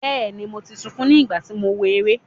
Bẹ́ẹ̀ni, mo ti sunkún ní ìgbà tí mò ń wo eré.